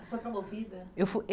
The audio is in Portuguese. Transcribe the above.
foi promovida? Eu fui ê